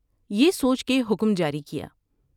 یہ سوچ کے حکم جاری کیا ۔